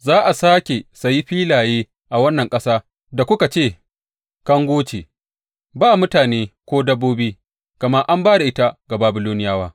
Za a sāke sayi filaye a wannan ƙasa da kuka ce, Kango ce, ba mutane ko dabbobi, gama an ba da ita ga Babiloniyawa.’